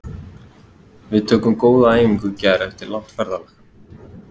Við tókum góða æfingu í gær eftir langt ferðalag.